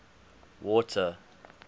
water